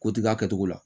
Ko tiga kɛ cogo la